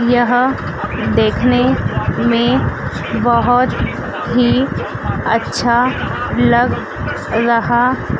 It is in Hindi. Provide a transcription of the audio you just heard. यह देखने में बहोत ही अच्छा लग रहा--